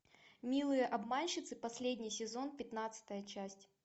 милые обманщицы последний сезон пятнадцатая часть